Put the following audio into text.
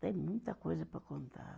Tem muita coisa para contar.